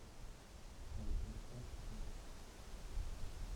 айпод тач пять